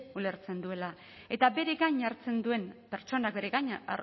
ulertzen duela eta bere gain hartzen duen pertsonak bere gainean